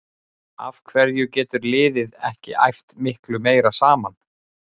Af hverju getur liðið ekki æft miklu meira saman?